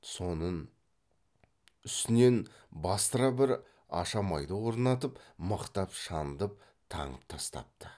сонын үстінен бастыра бір ашамайды орнатып мықтап шандып таңып тастапты